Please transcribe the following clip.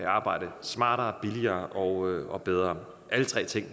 arbejde smartere billigere og og bedre alle tre ting